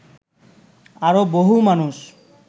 আরো বহু মানুষ